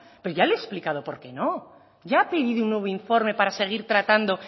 pero ya lo he explicado por qué no ya ha pedido un nuevo informe para seguir tratando